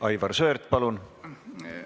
Aivar Sõerd, palun!